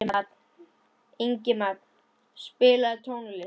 Ingimagn, spilaðu tónlist.